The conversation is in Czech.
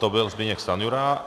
To byl Zbyněk Stanjura.